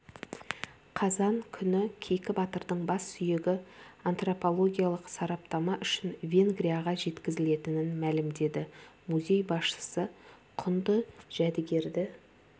қазан күні кейкі батырдың бассүйегі антропологиялық сараптама үшін венгрияға жеткізілетінін мәлімдеді музей басшысы құнды жәдігерді